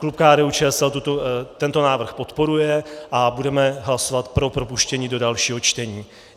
Klub KDU-ČSL tento návrh podporuje a budeme hlasovat pro propuštění do dalšího čtení.